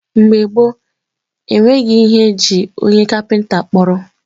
mgbe gboo, e nweghị ihe e ji onye kapịnta kpọrọ.